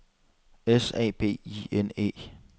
S A B I N E